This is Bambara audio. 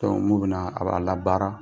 Dɔnk n'u bɛna a b'a la baara.